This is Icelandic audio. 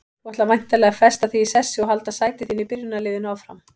Þú ætlar væntanlega að festa þig í sessi og halda sæti þínu í byrjunarliðinu áfram?